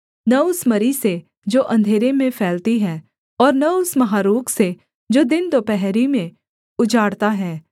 न उस मरी से जो अंधेरे में फैलती है और न उस महारोग से जो दिनदुपहरी में उजाड़ता है